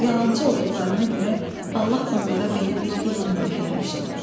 Yalançı olduqlarına görə Allah onlara belə bir ilan dili vermişdi.